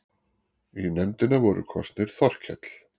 Í nefndina voru kosnir Þorkell